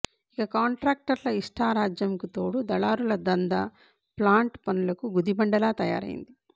ఇక కాంట్రాక్టర్ల ఇష్టా రాజ్యంకు తోడు దళారుల దందా ప్లాంట్ పనులకు గుదిబండలా తయారయ్యింది